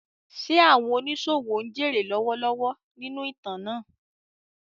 Ṣé àwọn oníṣòwò ń jèrè lọ́wọ́lọ́wọ́ nínú ìtàn náà?